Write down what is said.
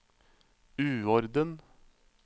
uorden